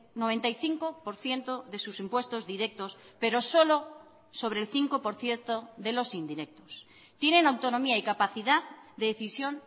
noventa y cinco por ciento de sus impuestos directos pero solo sobre el cinco por ciento de los indirectos tienen autonomía y capacidad de decisión